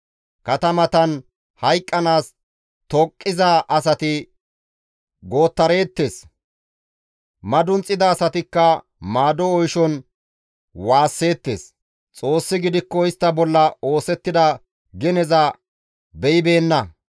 Katamatan hayqqanaas tooqiza asati gootareettes; madunxida asatikka maado oyshon waasseettes. Xoossi gidikko istta bolla oosettida geneza beyibeenna.